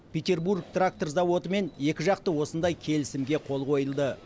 петербург трактор зауытымен екіжақты осындай келісімге қол қойылды